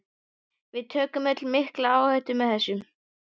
Við tökum öll mikla áhættu með þessu.